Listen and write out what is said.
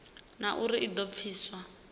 na uri i do pfiswa